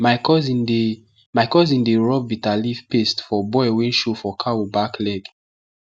my cousin dey my cousin dey rub bitter leaf paste for boil wey show for cow back leg